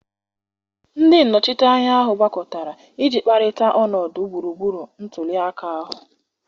Ndị nnọchiteanya ahụ gbakọtara iji kparịta ọnọdụ gburugburu ntuli aka ahụ.